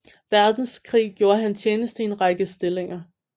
Verdenskrig gjorde han tjeneste i en række stillinger